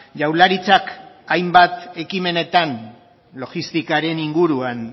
jaurlaritzak hainbat ekimenetan logistikaren inguruan